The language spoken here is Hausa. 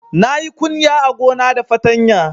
Na yi kunya a gona da fatanya